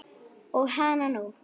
Og hananú!